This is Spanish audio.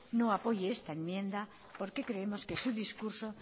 no apoye esta enmienda porque creemos que su discurso